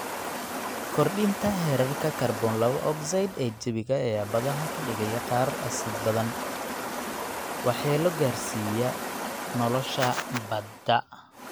Kordhinta heerarka kaarboon laba ogsaydh ee jawiga ayaa badaha ka dhigaya qaar asiidh badan, waxyeelo gaadhsiiya nolosha badda.